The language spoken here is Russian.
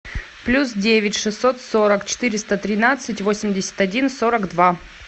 плюс девять шестьсот сорок четыреста тринадцать восемьдесят один сорок два